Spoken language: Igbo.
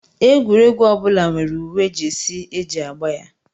Egwuregwu ọ bụla nwere uwe Jesi e ji agba ya